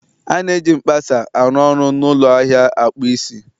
A na-eji mkpasa a ruoru n'ụlọ ahịa akpụ isi